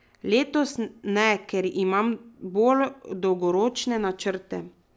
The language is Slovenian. Letos ne, ker imam bolj dolgoročne načrte.